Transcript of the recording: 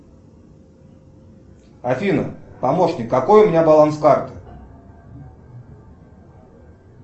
афина помощник какой у меня баланс карты